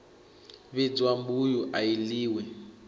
vhidzwa mbuyu i a ḽiwa